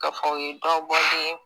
K'a fɔ o ye dɔ bɔ de